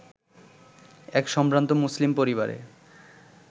এক সম্ভ্রান্ত মুসলিম পরিবারে